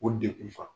O degun fa